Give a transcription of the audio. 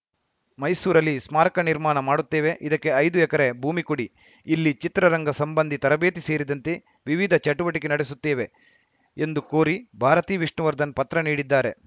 ಮೈಸೂರಲ್ಲಿ ಸ್ಮಾರಕ ನಿರ್ಮಾಣ ಮಾಡುತ್ತೇವೆ ಇದಕ್ಕೆ ಐದು ಎಕರೆ ಭೂಮಿ ಕೊಡಿ ಇಲ್ಲಿ ಚಿತ್ರರಂಗ ಸಂಬಂಧಿ ತರಬೇತಿ ಸೇರಿದಂತೆ ವಿವಿಧ ಚಟುವಟಿಕೆ ನಡೆಸುತ್ತೇವೆ ಎಂದು ಕೋರಿ ಭಾರತಿ ವಿಷ್ಣುವರ್ಧನ್‌ ಪತ್ರ ನೀಡಿದ್ದಾರೆ